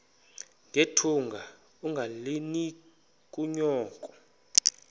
nethunga ungalinik unyoko